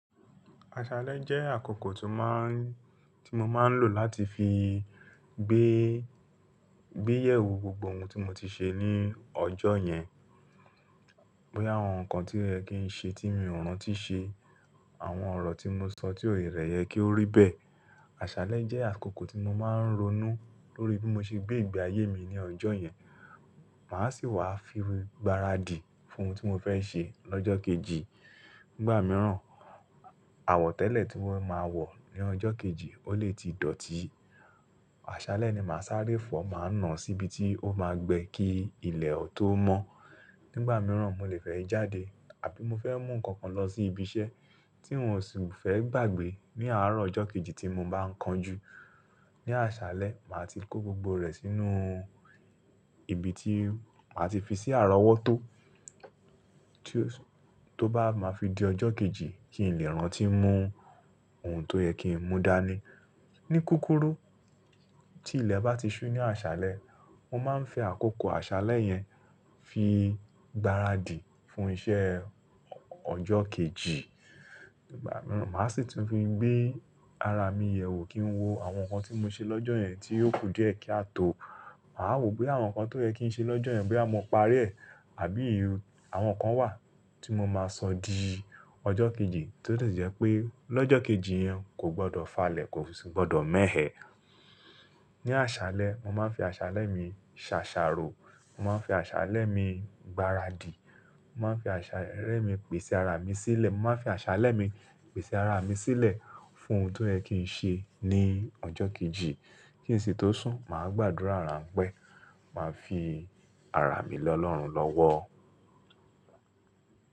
Àṣálẹ́ jẹ́ àkókò tí mo máa ń tí mo máa ń lò láti fi gbé, gbé ìyẹ̀wò gbogbo ohun tí mo ti ṣe ní ọjọ́ yẹn. Bóyá àwọn nǹkan tí oyẹ kìí ń ṣe tí mi ò rántí ṣe, àwọn ọ̀rọ̀ tí mo sọ tí ò wulẹ yẹ kí ó rí bẹ́ẹ̀. Àṣálẹ́ jẹ́ àkókò tí mo máa ń ronú lórí bí mo ṣe gbé ìgbé ayé mi ní ọjọ́ yẹn. Màá sì wá fi gbáradì fún ohun tí mo fẹ́ ṣe lọ́jọ́ kejì. Nígbà mìíràn, àwọ̀tẹ́lẹ̀ tí wọn máa wọ̀ ní ọjọ́ kejì ó lè ti dọ̀tí. Àṣálẹ́ ni màá sáré fọ̀, màá nà án síbi tí ó máa gbẹ kí ilẹ̀ tó mọ́. Nígbà mìíràn, mo lè fẹ́ jáde àbí mo fẹ́ mú nǹkan kan lọ sí ibi iṣẹ́ tí n ò sì fẹ́ gbàgbé ní àárọ̀ ọjọ́ kejì tí mo bá ń kan jú. Ní àṣálẹ́, màá ti kó gbogbo rẹ̀ sínú ibi tí màá ti fi sí àrọwọ́ tó. Tí ó bá máa fi di ọjọ́ kejì kí n lè rántí mú ohun tó yẹ kí n mú dání. Ni kúkúrú tí ilẹ̀ bá ti ṣú ní àṣálẹ́, mo máa ń fi àkókò àṣálẹ́ yẹn fi gbáradì fún iṣẹ́ ọjọ́ kejì. Nígbà mìíràn, màá sì tún fi gbé ara mi yẹ̀wò kí n wo àwọn nǹkan tí mo ṣe lọ́jọ́ yẹn tí ó kù diẹ kí a tó. Màá wò ó boya àwọn nǹkan tó yẹ kí n ṣe lọ́jọ́ yẹn bóyá mo parí ẹ̀, àbí àwọn nǹkan wà tí mo máa sọ di ọjọ́ kejì tí ó lè jẹ́ pé lọ́jọ́ kejì yẹn kò gbọdọ̀ falẹ̀, kò sì gbọdọ̀ mẹ́hẹ́. Ní àṣálẹ́, mo máa ń fi àṣálẹ́ mi ṣàṣàrò. Mo máa ń fi àṣálẹ́ mi gbáradì. Mo máa ń fi àṣálẹ́ mi pèsè ara mi sílẹ̀. Mo máa ń fi àṣálẹ́ mi pèsè ara mi sílẹ̀ fún ohun tó yẹ kì ń ṣe ní ọjọ́ kejì. Kí ìsìn tó sún, màá gbàdúrà ránpẹ́, màá fi ara mi le Ọlọ́run lọ́wọ́.